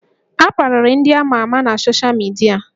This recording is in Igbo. A kparịrị ndị amà amà na soshal midia